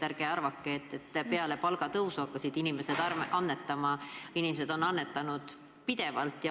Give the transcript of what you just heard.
Ärge arvake, et vaid peale palgatõusu on inimesed hakanud annetama, inimesed on annetanud pidevalt.